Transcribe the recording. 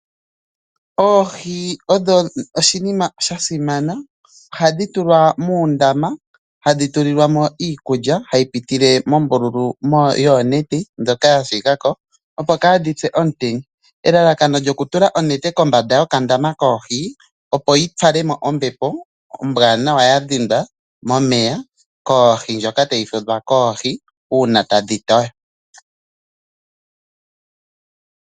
Oohi odho oshinima sha simana, ohadhi tulwa muundama, ohadhi tulilwa mo iikulya hayi pitile mombululu yoonete ndjoka ya shigako opo kadhi pye komutenya. Elalakano lyokutula onete kombanda yokandama koohi opo yi fale mo ombepo ombwanawa yadhindwa momeya koohi, ndjoka tayi fudhwa koohi uuna tadhi toyo.